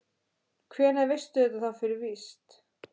Hvenær veistu þetta þá fyrir víst?